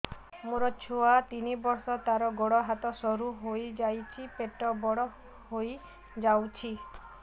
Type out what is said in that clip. ମୋ ଛୁଆ ତିନି ବର୍ଷ ତାର ଗୋଡ ହାତ ସରୁ ହୋଇଯାଉଛି ପେଟ ବଡ ହୋଇ ଯାଉଛି